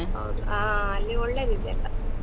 ಹೌದು, ಆ ಅಲ್ಲಿ ಒಳ್ಳೆದಿದೆ ಎಲ್ಲ.